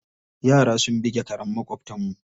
Yara sun buge karen maƙwabtanmu.